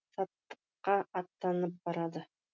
саттыққа аттанып барады